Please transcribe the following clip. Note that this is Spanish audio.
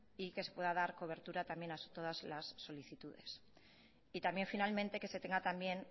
y que se pueda dar cobertura también a todas las solicitudes y también finalmente que se tenga también